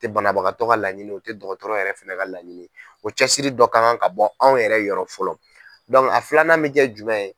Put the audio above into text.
o tɛ banabagatɔ laɲini ye o tɛ dɔgɔtɔrɔ yɛrɛ fana ka laɲini ye o cɛsiri dɔ kan ka bɔ anw yɛrɛ yɔrɔ fɔlɔ a filanan mi kɛ jumɛn ye?